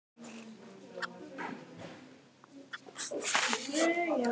Kvöldsólin er að steikja Svenna þar sem hann situr við glugga um borð í